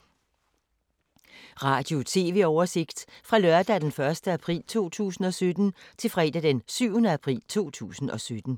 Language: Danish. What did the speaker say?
Radio/TV oversigt fra lørdag d. 1. april 2017 til fredag d. 7. april 2017